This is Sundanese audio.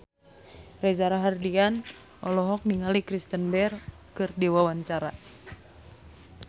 Reza Rahardian olohok ningali Kristen Bell keur diwawancara